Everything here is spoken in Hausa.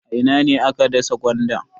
A ina ne aka dasa gwanda?